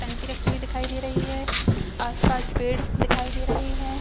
टंकी रखी हुई दिखाई दे रही है आस-पास पेड़ दिखाई दे रहे है।